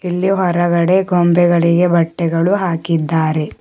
ಇಲ್ಲಿ ಹೊರಗಡೆ ಗೊಂಬೆಗಳಿಗೆ ಬಟ್ಟೆಗಳು ಹಾಕಿದ್ದಾರೆ.